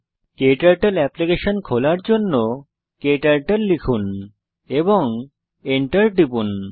ক্টার্টল application খোলার জন্য KTurtle লিখুন এবং এন্টার টিপুন